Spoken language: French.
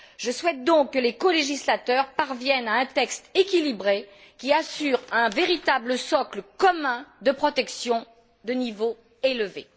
Je souhaite donc que les colégislateurs parviennent à un texte équilibré, qui assure un véritable socle commun de protection de niveau élevé.